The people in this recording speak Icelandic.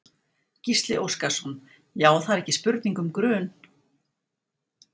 Gísli Óskarsson: Já það er ekki spurning um grun?